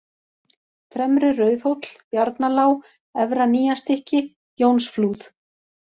Fremri-Rauðhóll, Bjarnalág, Efra-Nýjastykki, Jónsflúð